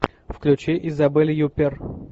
включи изабель юппер